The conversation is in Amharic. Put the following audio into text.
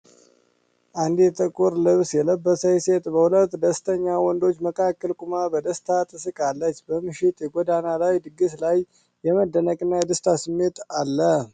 አንዲት ጥቁር ልብስ የለበሰች ሴት በሁለት ደስተኛ ወንዶች መካከል ቆማ በደስታ ትስቃለች፤ በምሽት የጎዳና ላይ ድግስ ላይ የመደነቅ እና የደስታ ስሜት አለ።